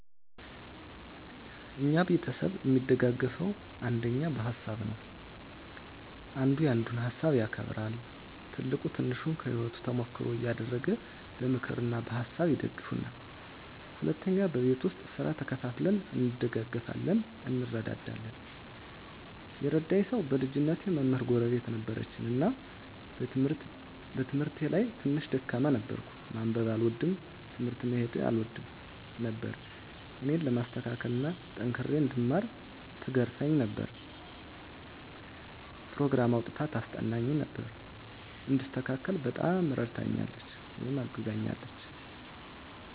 እኛ ቤተሰብ እሚደጋገፈዉ አንደኛ በሀሳብ ነዉ። አንዱ ያንዱን ሀሳብ ያከብራል፣ ትልቁ ትንሹን ከህይወቱ ተሞክሮ እያደረገ በምክር እና በሀሳብ ይደግፉናል። ሁለተኛ በቤት ዉስጥ ስራ ተከፋፍለን እንደጋገፋለን (እንረዳዳለን) ። የረዳኝ ሰዉ በልጅነቴ መምህር ጎረቤት ነበረችን እና በትምህርቴ ላይ ትንሽ ደካማ ነበርኩ፤ ማንበብ አልወድም፣ ትምህርት ቤት መሄድ አልወድም ነበር እኔን ለማስተካከል እና ጠንክሬ እንድማር ትገርፈኝ ነበር፣ ኘሮግራም አዉጥታ ታስጠናኝ ነበር፣ እንድስተካከል በጣም እረድታኛለች(አግዛኛለች) ።